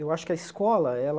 Eu acho que a escola, ela...